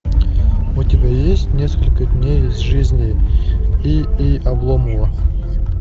у тебя есть несколько дней из жизни и и обломова